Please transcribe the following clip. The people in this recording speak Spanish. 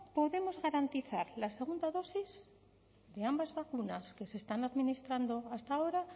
podemos garantizar la segunda dosis de ambas vacunas que se están administrando hasta ahora